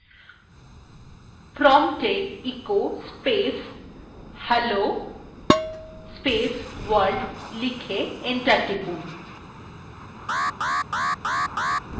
prompt এ echo space hello world লিখে enter টিপুন